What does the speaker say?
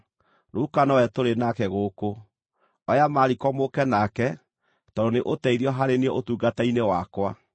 Luka nowe tũrĩ nake gũkũ. Oya Mariko mũũke nake, tondũ nĩ ũteithio harĩ niĩ ũtungata-inĩ wakwa.